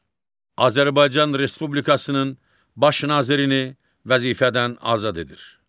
Azərbaycan Respublikasının baş nazirini vəzifədən azad edir.